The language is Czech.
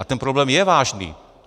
A ten problém je vážný.